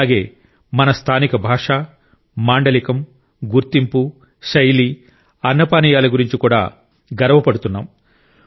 అలాగే మన స్థానిక భాష మాండలికం గుర్తింపు శైలి అన్నపానీయాల గురించి కూడా గర్వపడుతున్నాం